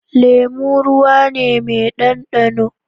Lemo ruwane ne me dan da no